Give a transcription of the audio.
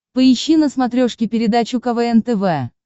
поищи на смотрешке передачу квн тв